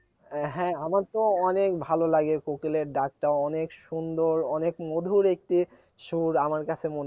হ্যাঁ আমার তো অনেক ভালো লাগে কোকিলের ডাকটা অনেক সুন্দর অনেক মধুর একটি সুর আমার কাছে